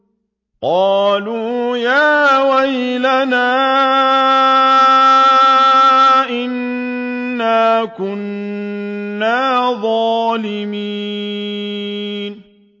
قَالُوا يَا وَيْلَنَا إِنَّا كُنَّا ظَالِمِينَ